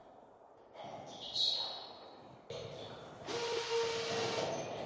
Hægt er að sjá á útliti unganna hve gamlir þeir eru.